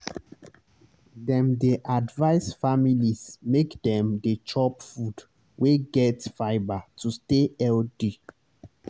dem dey advise families make dem dey chop food wey get fibre to stay healthy.